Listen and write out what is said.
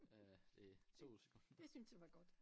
Øh det 2 sekunder